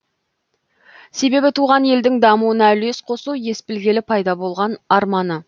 себебі туған елдің дамуына үлес қосу ес білгелі пайда болған арманы